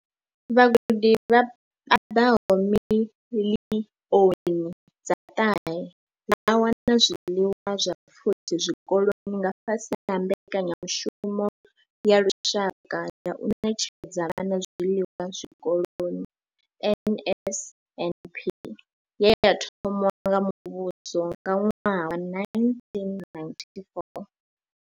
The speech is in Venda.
Vhagudi vha paḓaho miḽioni dza ṱahe vha wana zwiḽiwa zwa pfushi zwikoloni nga fhasi ha mbekanyamushumo ya lushaka ya u ṋetshedza vhana zwiḽiwa zwikoloni NSNP ye ya thomiwa nga muvhuso nga ṅwaha wa 1994.